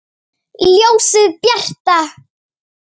Ljósið bjarta!